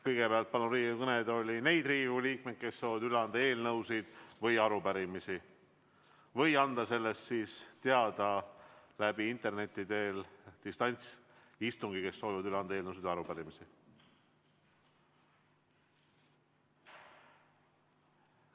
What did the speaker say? Kõigepealt palun Riigikogu kõnetooli neid Riigikogu liikmeid, kes soovivad üle anda eelnõusid ja arupärimisi, või anda sellest teada interneti teel, distantsilt neil, kes soovivad üle anda eelnõusid ja arupärimisi.